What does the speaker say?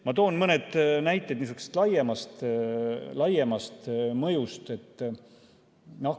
Ma toon mõne näite niisuguse laiema mõju kohta.